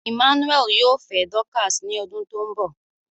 Emmanuel yoo fẹ Dorcas ni odun to nbo